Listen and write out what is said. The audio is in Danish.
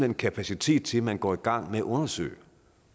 en kapacitet til at man går i gang med at undersøge